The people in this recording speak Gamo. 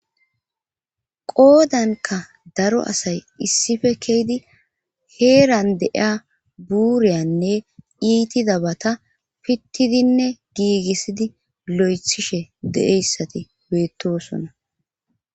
Qoodanka daro asay issife keeydi heeran deiya buuriyanne iitida bata pittidinne giigissidi lo7ethishe deeyssati beettosona